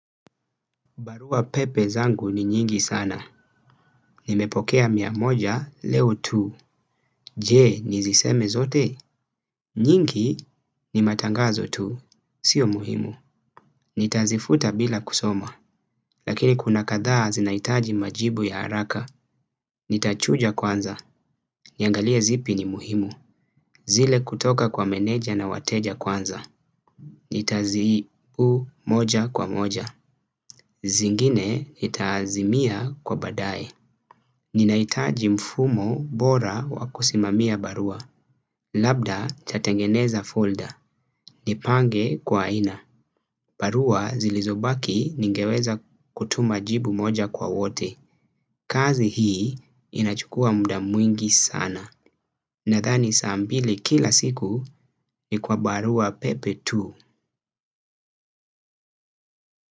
Barua pepe zangu ni nyingi sana. Nimepokea miamoja leo tu. Je ni ziseme zote. Nyingi ni matangazo tu. Sio muhimu. Nitazifuta bila kusoma. Lakini kuna katha zinaitaji majibu ya haraka. Nitachuja kwanza. Niangalia zipi ni muhimu. Zile kutoka kwa meneja na wateja kwanza. Nitazi u moja kwa moja. Zingine itazimia kwa badaye. Ninaitaji mfumo bora wakusimamia barua. Labda cha tengeneza folder. Nipange kwa aina barua zilizobaki ningeweza kutuma jibu moja kwa wote. Kazi hii inachukua muda mwingi sana. Nadhani saa mbili kila siku kwa barua pepe tu.